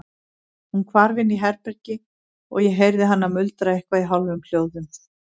Hún hvarf inn í herbergi og ég heyrði hana muldra eitthvað í hálfum hljóðum.